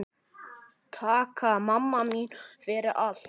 Takk mamma mín fyrir allt.